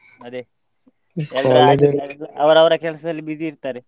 ಅದೇ ಅವರವರ ಕೆಲ್ಸದಲ್ಲಿ busy ಇರ್ತಾರೆ.